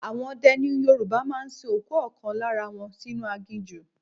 Àwọn ọdẹ ni Yorùbá máa ń sin òkú ọ̀kan lára wọn sínú aginjù.